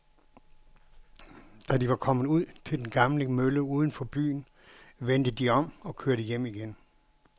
Da de var kommet ud til den gamle mølle uden for byen, vendte de om og kørte hjem igen.